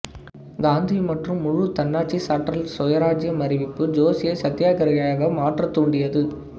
காந்தி மற்றும் முழு தன்னாட்சி சாற்றல் சுயராஜ்ஜியம் அறிவிப்பு ஜோசியை சத்தியாக்கிரகியாக மாற்ற தூண்டியது